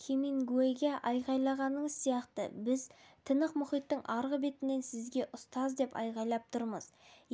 хемингуэйге айғайлағаныңыз сияқты біз тынық мұхиттың арғы бетінен сізге ұстаз деп айғайлап тұрмыз